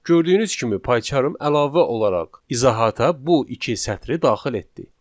Gördüyünüz kimi PyCharm əlavə olaraq izahata bu iki sətri daxil etdi.